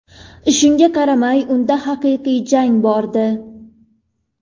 Shunga qaramay, unda haqiqiy jang bordi.